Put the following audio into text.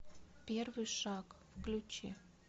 первый шаг включи